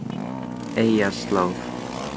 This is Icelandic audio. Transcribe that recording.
Eyjarslóð